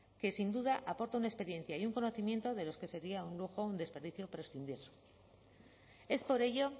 que sin duda aporta una experiencia y un conocimiento de los que sería un lujo un desperdicio prescindir es por ello